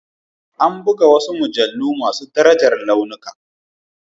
Ana buga wasu mujallu masu daraja launuka.